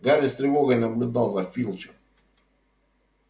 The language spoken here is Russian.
гарри с тревогой наблюдал за филчем